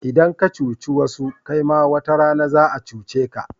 Idan ka cuci wasu kaima wata rana za'a cuce ka.